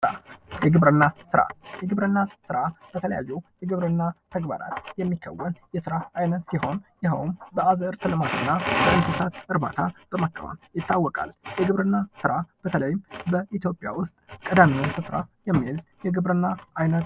የግብርና ስራ የግብርና ስራ በተለያዩ የግብርና ተግባራት የሚከወን የስራ አይነት ሲሆን ይሀውም በአዝርት ልማት እና በእንሣት እርባታ በማከናወን ይታወቃል። የግብርና ስራ በተለይም በኢትዮጵያ ዉስት ቀዳሚዉን ስፍራ የሚይዝ የግብርና አይነት ነው።